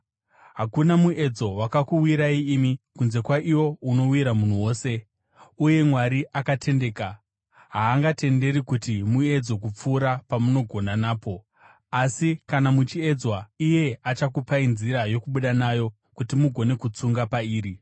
Hakuna muedzo wakakuwirai imi, kunze kwaiwo unowira munhu wose. Uye Mwari akatendeka, haangatenderi kuti muedzwe kupfuura pamunogona napo. Asi kana muchiedzwa, iye achakupai nzira yokubuda nayo kuti mugone kutsunga pairi.